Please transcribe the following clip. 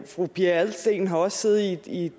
fru pia adelsteen har også siddet i